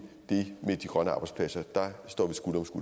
det med de grønne arbejdspladser står